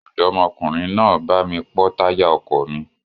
Ọ̀dọ́mọkùnrin náà bá mi pọ́ táyà ọkọ̀ mi.